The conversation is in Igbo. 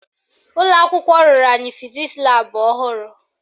Ụlọakwụkwọ rụrụ anyị fizisi laabụ ọhụrụ